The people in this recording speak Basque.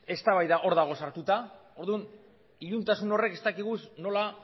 eztabaida hor dago sartuta orduan iluntasun horrek ez dakigu nola